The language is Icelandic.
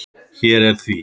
Hér er því.